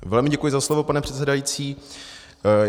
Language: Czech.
Velmi děkuji za slovo, pane předsedající.